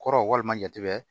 Kɔrɔ walima jate bɛ